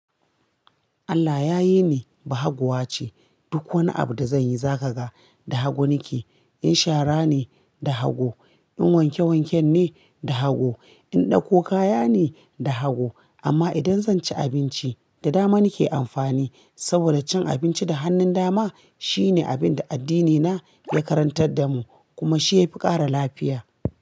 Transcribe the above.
Allah ya yi ni bahaguwa ce. Duk wani abu da zanyi za kaga da hagu nike. In shara ne, da hagu, in wanke wanken ne, da hagu, in ɗauko kaya ne, da hagu. Amma idan zan ci abinci, da dama nike amfani. Saboda cin abinci da hannun dama shine abin da addinina ya karantar da mu kuma shi ya fi ƙara lafiya.